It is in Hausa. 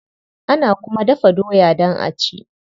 Ana kuma dafa doya don a ci.